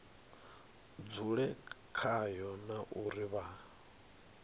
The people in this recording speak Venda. dzule khayo na uri vha